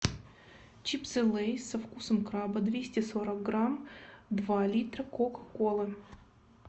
чипсы лейс со вкусом краба двести сорок грамм два литра кока колы